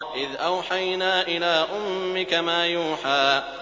إِذْ أَوْحَيْنَا إِلَىٰ أُمِّكَ مَا يُوحَىٰ